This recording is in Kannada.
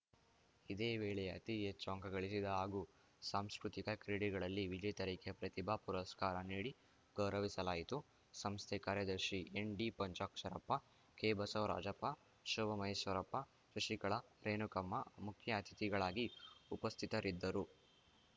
ಇದೇ ವೇಳೆ ಅತಿ ಹೆಚ್ಚು ಅಂಕಗಳಿಸಿದ ಹಾಗೂ ಸಾಂಸ್ಕೃತಿಕ ಕ್ರೀಡೆಗಳಲ್ಲಿ ವಿಜೇತರಿಗೆ ಪ್ರತಿಭಾ ಪುರಸ್ಕಾರ ನೀಡಿ ಗೌರವಿಸಲಾಯಿತು ಸಂಸ್ಥೆ ಕಾರ್ಯದರ್ಶಿ ಎನ್‌ಡಿಪಂಚಾಕ್ಷರಪ್ಪ ಕೆಬಸವರಾಜಪ್ಪ ಶೋಭಾ ಮಹೇಶ್ವರಪ್ಪ ಶಶಿಕಲಾ ರೇಣುಕಮ್ಮ ಮುಖ್ಯ ಅತಿಥಿಗಳಾಗಿ ಉಪಸ್ಥಿತರಿದ್ದರು